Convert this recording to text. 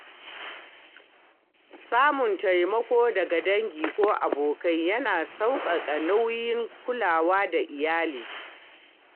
Samun taimako daga dangi ko abokai yana sauƙaƙa nauyin kulawa da iyali.